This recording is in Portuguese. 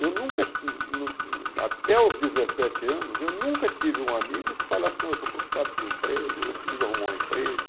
Eu nunca, até os dezessetes anos, eu nunca tive um amigo que falasse, não, eu estou preocupado com o emprego, eu preciso arrumar um emprego.